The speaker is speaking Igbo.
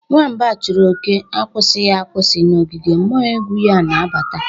nwamba chụrụ òké akwụsịghị akwụsị n’ogige, mmuo egwu ya na-abata.